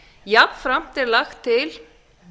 jafnframt er lagt til